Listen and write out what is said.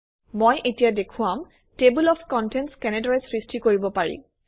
মই এতিয়া দেখুৱাম টেবল অফ কণ্টেণ্টছ কেনেদৰে সৃষ্টি কৰিব পাৰি